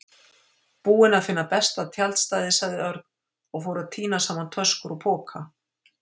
Búinn að finna besta tjaldstæðið sagði Örn og fór að tína saman töskur og poka.